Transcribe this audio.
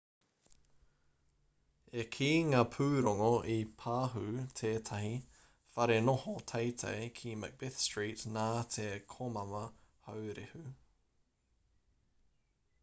e ai ki ngā pūrongo i pahū tētahi wharenoho teitei ki macbeth street nā te komama haurehu